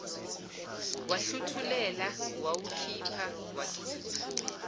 wahluthulela wawukhipha wakhipha